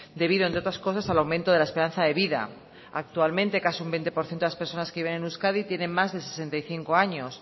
debido entre otras cosas al aumento de la esperanza de vida actualmente casi un veinte por ciento de las personas que viven en euskadi tienen más de sesenta y cinco años